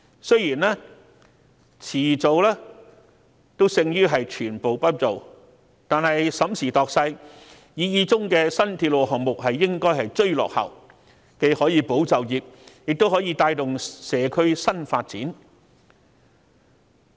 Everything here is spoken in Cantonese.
雖然遲做總勝於全部不做，但審時度勢，擬議中的新鐵路項目理應追落後，既可保就業，亦可帶動社區新發展。